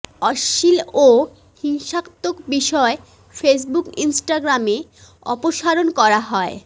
অশ্লীল ও হিংসাত্মক বিষয় ফেসবুক ইন্সটাগ্রামে অপসারণ করা হয়